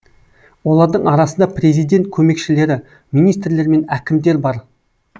олардың арасында президент көмекшілері министрлер мен әкімдер бар